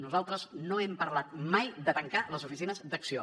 nosaltres no hem parlat mai de tancar les oficines d’acció